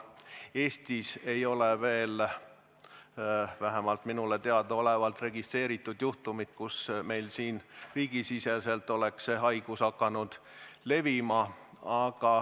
Eestis ei ole veel vähemalt minule teadaolevalt registreeritud juhtumit, et see haigus on meil siin riigisiseselt levinud.